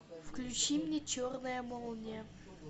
включи мне черная молния